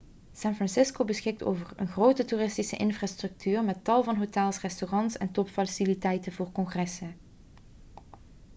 san francisco beschikt over een grote toeristische infrastructuur met tal van hotels restaurants en topfaciliteiten voor congressen